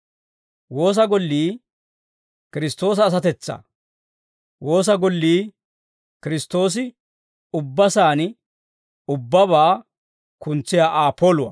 Woosa gollii Kiristtoosa asatetsaa; woosa gollii Kiristtoosi ubba saan ubbabaa kuntsiyaa Aa poluwaa.